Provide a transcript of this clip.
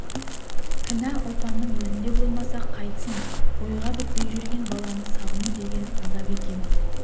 кінә ұлпанның өзінде болмаса қайтсын бойға бітпей жүрген баланы сағыну деген азап екен